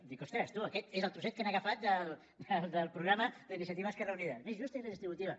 dic ostres tu aquest és el trosset que han agafat del programa d’iniciativa i esquerra unida més justa i redistributiva